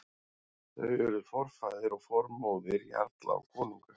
Þau urðu forfaðir og formóðir jarla og konunga.